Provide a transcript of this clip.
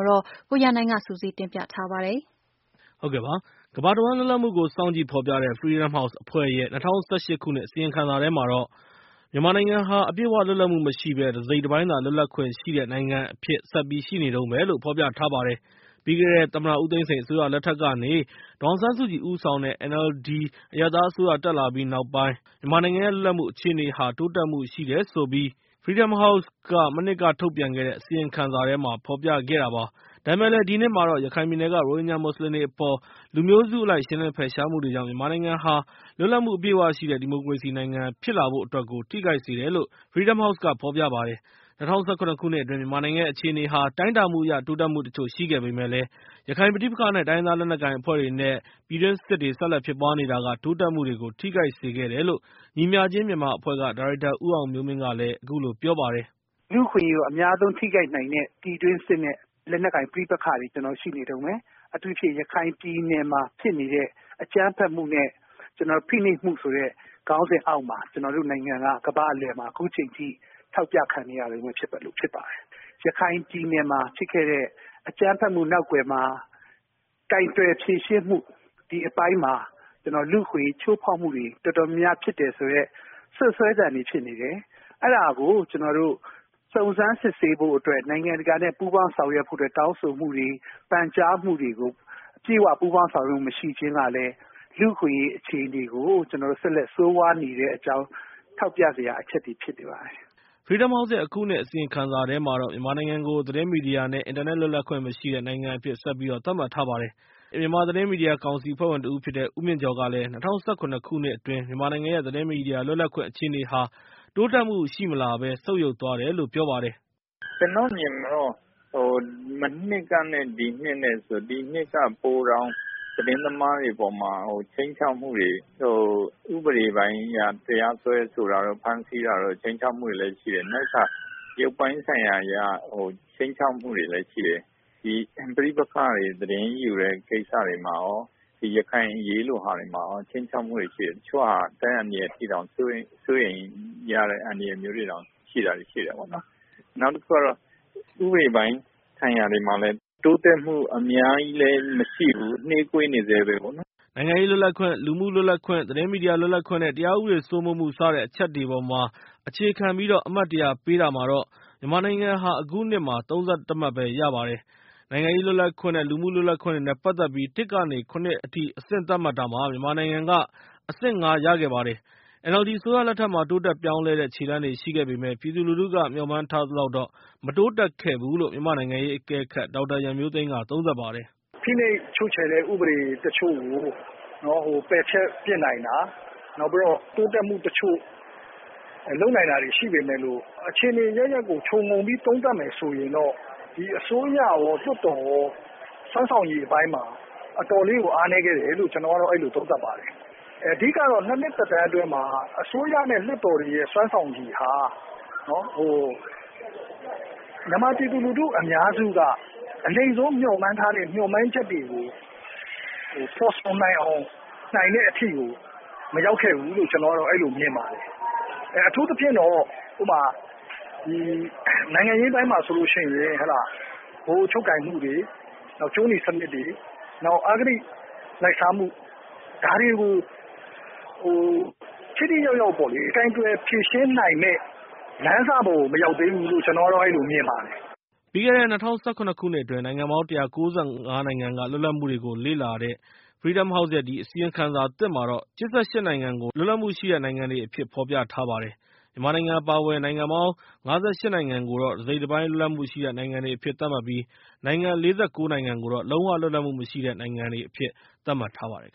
ို ကိုရန်နိုင်က ပြောပြပေးမှာဖြစ်ပါတယ်။ ကမ္ဘာတဝှမ်းလွတ်လပ်မှုတွေကိုစောင့်ကြည့်ဖော်ပြတဲ့ Freedom House အဖွဲ့ရဲ့ ၂၀၁၈ ခုနှစ်အစီရင်ခံစာထဲမှာတော့ မြန်မာနိုင်ငံရဲ့ လွတ်လပ်မှု အခြေအနေဟာ အပြည့်အဝလွတ်လပ်မှုမရှိဘဲ တစိတ်တပိုင်းသာလွတ်လပ်ခွင့်ရှိတဲ့ နိုင်ငံအဖြစ်နဲ့ ဆက်ပြီးရှိနေတုန်းပဲလို့ ဖော်ပြထားပါတယ် ပြီးခဲ့တဲ့ သမ္မတဦးသိန်းစိန်အစိုးရလက်ထက်ကနေ ဒေါ်အောင်ဆန်းစုကြည်ဦးဆောင်တဲ့ NLD အရပ်သားအစိုးရ တက်လာပြီးနောက်ပိုင်း မူဝါဒပိုင်းဆိုင်ရာအပြောင်းအလဲတွေကြောင့် မြန်မာနိုင်ငံရဲ့ လွတ်လပ်မှုဟာ တိုးတက်မှုရှိခဲ့တယ်လို့ Freedom House ရဲ့ မနှစ်က အစီရင်ခံစာမှာဖော်ပြခဲ့တာပါ။ ဒါပေမဲ့လည်း ဒီနှစ်မှာတော့ ရခိုင်ပြည်နယ်က ရိုဟင်ဂျာမွတ်စလင်တွေအပေါ်မှာ လူမျိုးစုအလိုက်ရှင်းလင်းဖယ်ရှားမှုတွေကြောင့် မြန်မာနိုင်ငံဟာ လွတ်လပ်မှု အပြည့်အဝရှိတဲ့ ဒီမိုကရေစီနိုင်ငံဖြစ်လာဖို့အတွက်ကို ထိခိုက်စေတယ်လို့ Freedom House ရဲ့ အစီရင်ခံစာထဲမှာ ပြောပါတယ်။ ၂၀၁၇ ခုနှစ်အတွင်း မြန်မာနိုင်ငံရဲ့ အခြေအနေဟာ တိုင်းတာမှုအရ တိုးတက်မှုတချို့ရှိခဲ့ပေမယ့်လည်း ရခိုင်ပဋိပက္ခ နဲ့ တိုင်းရင်းသားလက်နက်ကိုင်အဖွဲ့တွေ ပြည်တွင်းစစ်တွေ ဆက်လက်ဖြစ်ပွားနေတာက တိုးတက်မှုတွေကို ထိခိုက်စေခဲ့တယ်လို့ ညီမျှခြင်းမြန်မာအဖွဲ့က ဒါရိုက်တာ ဦးအောင်မျိုးမင်းက အခုလိုပြောပါတယ်။ “လူ့အခွင့်အရေးကို အများဆုံးထိခိုက်နိုင်တဲ့ ပြည်တွင်းစစ်နဲ့ လက်နက်ကိုင် ပဋိပက္ခတွေကျနော်တို့မှာ ရှိနေတုန်းပဲ။ အထူးသဖြင့် ရခိုင်ပြည်နယ်မှာ ဖြစ်နေတဲ့ အကြမ်းဖက်မှုမျိုး နဲ့ ဖိနှိပ်မှုဆိုတဲ့ ခေါင်းစဉ်အောက်မှာ ကျနော်တို့နိုင်ငံက ကမ္ဘာ့အလည်မှာ အခုအချိန်အထိ ထောက်ပြခံနေရတုန်းပဲ ဖြစ်ပါတယ်။ ရခိုင်ပြည်နယ်မှာ ဖြစ်ခဲ့တဲ့ အကြမ်းဖက်မှုနောက်ကွယ်မှာ ကိုင်တွယ်ဖြေရှင်းမူ ဒီအပိုင်းမှာ ကျနော်တို့ လူ့အခွင့်အရေးချိုးဖောက်မှုတွေ တော်တော်များများဖြစ်တယ်ဆိုတဲ့ စွပ်စွဲသံတွေဖြစ်နေတယ်။ အဲဒါကို ကျနေ်ာတို့ စုံစမ်းစစ်ဆေးဖို့အတွက် နိုင်ငံတကာနဲ့ ပူးပေါင်းဆောင်ရွက်ဖို့အတွက် တောင်းဆိုမှုတွေ ပန်ကြားမှုတွေကို အပြည့်အဝပူးပေါင်း ဆောင်ရွက်ခြင်းမရှိတာကလည်း လူ့အခွင့်အရေးအခြေအနေကို ကျနော်တို့ ဆက်လက်ဆိုးဝါးနေတဲ့အကြောင်း ကျနော်တို့ ထောက်ပြစရာအချက်တွေ ဖြစ်နေပါတယ်။” Freedom House ရဲ့ အခုနှစ်အစီရင်ခံစာမှာ မြန်မာနိုင်ငံကို သတင်းမီဒီယာ နဲ့ အင်တာနက် လွတ်လပ်ခွင့်မရှိတဲ့နိုင်ငံအဖြစ်နဲ့ ဆက်ပြီးတော့ သတ်မှတ်ထားပါတယ်။ မြန်မာသတင်းမီဒီယာကောင်စီအဖွဲ့ဝင်တဦးဖြစ်တဲ့ ဦးမြင့်ကျော်ကလည်း ၂၀၁၇ ခုနှစ်အတွင်း မြန်မာနိုင်ငံရဲ့ သတင်းမီဒီယာလွတ်လပ်ခွင့်အခြေအနေဟာ တိုးတက်မှုမရှိလာဘဲ ဆုတ်ယုတ်သွားတယ်လို့ ပြောပါတယ်။ “ကျနော့်အမြင်မှာတော့ မနှစ်ကနဲ့ ဒီနှစ် ဆိုရင် ဒီနှစ်က ပိုတောင်သတင်းသမားတွေအပေါ်မှာ ခြိမ်းခြောက်မှုတွေ ၊ ဥပဒေပိုင်းအရ တရားစွဲဆိုတာတွေ ဖမ်းဆီး ခြိမ်းခြောက်မှုတွေလည်းရှိတယ်။ နောက်တခါ ရုပ်ပိုင်းဆိုင်ရာအရ ခြိမ်းခြောက်မှုတွေလည်းရှိတယ်။ ဒီပဋိပက္ခတွေ သတင်းယူတဲ့ ကိစ္စတွေမှာ ဒီရခိုင်အရေးလိုဟာတွေမှာ ခြိမ်းခြောက်မှုတွေရှိတယ်။ တချို့ဟာ အသက်အန္တရာယ်အထိအောင် စိုးရိမ်ရတဲ့ အန္တရာယ်မျိုးတွေတောင် ရှိတယ်ပေါ့နော်။ နောက်တခုကတော့ ဥပဒေပိုင်းဆိုင်ရာတွေမှာလည်း တိုးတက်မှုတွေကတော့ အများကြီးလည်းမရှိဘူး။ နှေးကွေးနေဆဲပဲပေါ့နော်။” နိုင်ငံရေးလွတ်လပ်ခွင့်၊ လူမှုလွတ်လပ်ခွင့်၊ သတင်းမီဒီယာလွတ်လပ်ခွင့်၊ တရားဥပဒေစိုးမိုးမှု စတဲ့အချက်တွေအပေါ်မှာ အခြေခံပြီး အမှတ် ၁၀၀ ပေးတာမှာ မြန်မာနိုင်ငံက အခုနှစ်မှာ ၃၁ မှတ်ပဲ ရခဲ့ပါတယ်။ နိုင်ငံရေးလွတ်လပ်ခွင့် နဲ့ လူမှုလွတ်လပ်ခွင့်နဲ့ ပတ်သက်ပြီး ၁ ကနေ ၇ အထိသတ်မှတ်တာမှာ မြန်မာနိုင်ငံက အဆင့် ၅ ပဲ ရခဲ့ပါတယ်။ NLD အစိုးရလက်ထက်မှာ တိုးတက်ပြောင်းလဲတဲ့ ခြေလှမ်းတွေရှိခဲ့ပေမယ့်၊ ပြည်သူလူထုက မျှော်မှန်းထားသလောက်မတိုးတက်ခဲ့ဘူးလို့ မြန်မာနိုင်ငံရေးအကဲခတ် ဒေါက်တာရန်မျိုးသိမ်းက သုံးသပ်ပါတယ်။ “ဖိနှိပ်ချုပ်ချယ်တဲ့ ဥပဒေတချို့ကို ပယ်ဖျက်နိုင်တာ နောက်ပြီးတော့ တိုးတက်မှုတချို့ လုပ်နိုင်တာတွေရှိပေမယ့်လို့ အခြေအနေအရပ်ရပ်ကို ခြုံပြီးတော့ သုံးသပ်မယ်ဆိုရင် ဒီအစိုးရရော လွှတ်တော်ရော စွမ်းဆောင်ရည်အပိုင်းမှာ တော်တော်လေးကို အားနည်းခဲ့တယ်လို့ ကျနေ်ာအဲလိုသုံးသပ်ပါတယ်။ အဓိကတော့ ၂ နှစ် သက်တမ်းအတွင်းမှာ အစိုးရနဲ့ လွှတ်တော်တွေရဲ့ စွမ်းဆောင်ရည်ဟာ မြန်မာပြည်သူလူထုအများစုက အနိမ့်ဆုံးမျှော်မှန်းထားတဲ့ မျှော်မှန်းချက်တွေကို ဖော်ဆောင်နိုင်တဲ့အထိကို မရောက်ခဲ့ဘူးလို့ မြင်ပါတယ်။ အထူးသဖြင့်တော့ နိုင်ငံရေးပိုင်းမှာ ဆိုရင် ဗဟိုချုပ်ကိုင်မှုတွေ ကြိုးနီစနစ်တွေ ၊ နောက် အဂတိလိုက်စားမှု ဒါတွေကို ထိထိရောက်ရောက်ပေါ့လေ ကိုင်တွယ်ဖြေရှင်းနိုင်မယ့်လမ်းစကို မရောက်သေးဘူးလို့ ကျနော်မြင်ပါတယ်။” ပြီးခဲ့တဲ့ ၂၀၁၇ ခုနှစ်အတွင်း နိုင်ငံပေါင်း ၁၉၅ နိုင်ငံက လွတ်လပ်မှုတွေကိုလေ့လာထားတဲ့ Freedom House ရဲ့ အစီရင်ခံစာသစ်မှာတော့ နိုင်ငံ ၈၈ နိုင်ငံကို လွတ်လပ်မှုရှိတဲ့နိုင်ငံတွေအဖြစ် ဖော်ပြထားပါတယ်။ မြန်မာနိုင်ငံ အပါအဝင် နိုင်ငံပေါင်း ၅၈ နိုင်ငံကိုတော့ တစိတ်တပိုင်း လွတ်လပ်မှုရှိတဲ့ နိုင်ငံ တွေအဖြစ် သတ်မှတ်ပြီး နိုင်ငံပေါင်း ၄၉ နိုင်ငံကိုတော့ လုံး၀ လွတ်လပ်မှု မရှိတဲ့ နိုင်ငံအဖြစ် သတ်မှတ်ထားပါတယ်